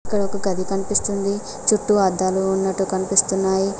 ఇక్కడ ఒక గాడి కనిపిస్తుంది చుట్టూ అద్దాలు ఉన్నట్టు కనిపిస్తున్నాయి.